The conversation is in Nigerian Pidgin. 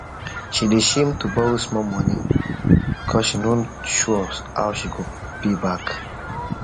she dey shame to borrow small money because she no sure how she go pay back